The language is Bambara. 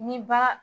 Ni ba